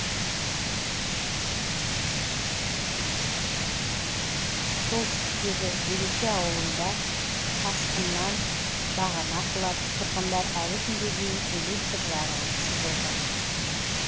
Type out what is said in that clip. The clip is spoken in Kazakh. солтүстіктегі береке ауылында тасқыннан бағана құлап тұрғындар әлі күнге дейін электр жарығынсыз отыр